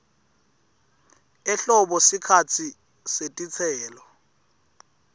ehlobo sikhatsi setitselo